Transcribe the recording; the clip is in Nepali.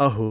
अहो,